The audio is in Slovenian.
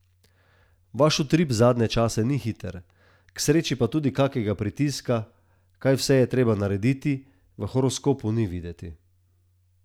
Vaš utrip zadnje čase ni hiter, k sreči pa tudi kakega pritiska, kaj vse je treba narediti, v horoskopu ni videti.